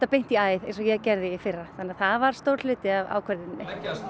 eins og ég gerði í fyrra það var stór hluti af ákvörðuninni